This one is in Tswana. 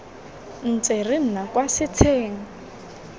ntse re nna kwa setsheng